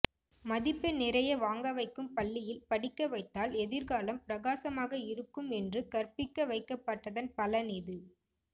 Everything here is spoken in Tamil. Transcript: மதிப்பெண் நிறைய வாங்க வைக்கும் பள்ளியில் படிக்க வைத்தால் எதிர்காலம் பிரகாசமாக இருக்கும் என்று கற்பிக்க வைக்கப்பட்டதன் பலன் இது